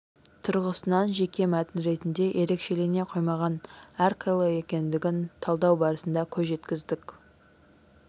тұрғысынан жеке мәтін ретінде ерекшелене қоймаған әрқилы екендігін талдау барысында көз жеткіздік